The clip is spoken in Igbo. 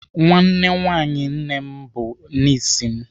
Nwa nwaanyị nwanne m bụ nis m.